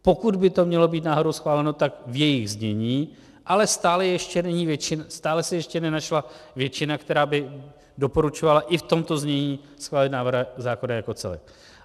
Pokud by to mělo být náhodou schváleno, tak v jejich znění, ale stále se ještě nenašla většina, která by doporučovala i v tomto znění schválit návrh zákona jako celek.